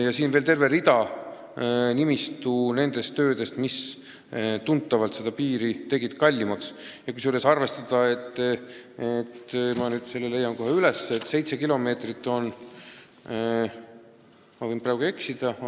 Lisaks on veel terve rida muid töid, mis teevad piiri ehitamise tunduvalt kallimaks.